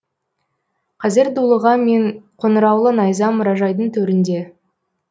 қазір дулыға мен қоңыраулы найза мұражайдың төрінде